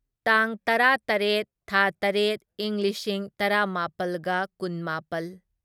ꯇꯥꯡ ꯇꯔꯥꯇꯔꯦꯠ ꯊꯥ ꯇꯔꯦꯠ ꯢꯪ ꯂꯤꯁꯤꯡ ꯇꯔꯥꯃꯥꯄꯜꯒ ꯀꯨꯟꯃꯥꯄꯜ